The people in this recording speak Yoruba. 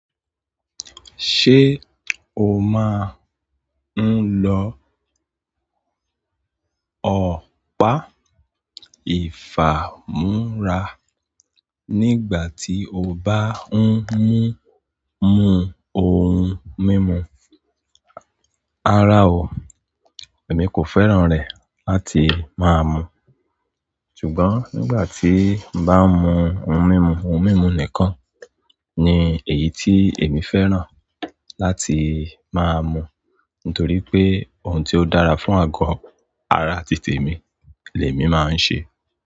Ṣé o máa ń lo ọ̀pá ìfámúra nígbà tí o bá ń mú mú ohun mímu? Rara ọ, èmi kò fẹ́ràn rẹ̀ láti máa mu. Ṣùgbọ́n nígbà tí bá ń mu ohun mímu, ohun mímu nìkan ni èyí tí èmi fẹ́ràn láti máa mu. Nítorí pé ohun tí ó dára fún àgọ́ ara títè mi, lé mi máa ń ṣe.